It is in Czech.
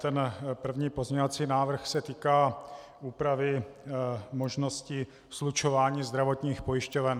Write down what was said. Ten první pozměňovací návrh se týká úpravy možnosti slučování zdravotních pojišťoven.